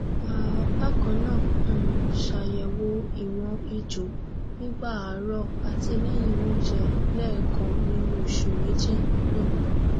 um bakannaa um ṣayẹwo ìwọn èjò nígbà àárọ àti lẹyìn onjẹ lẹkan nínú oṣù méjì um